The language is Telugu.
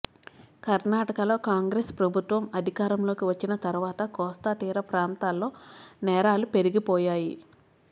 కర్ణాటకలో కాంగ్రెస్ ప్రభుత్వం అధికారంలోకి వచ్చిన తరువాత కోస్తా తీర ప్రాంతాల్లో నేరాలు పెరిగిపోయాయి